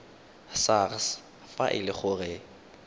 sars fa e le gore